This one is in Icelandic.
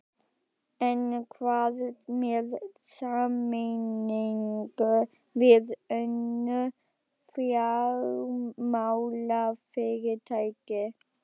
En hvað með sameiningu við önnur fjármálafyrirtæki?